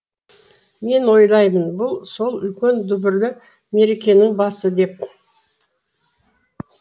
мен ойлаймын бұл сол үлкен дүбірлі мерекенің басы деп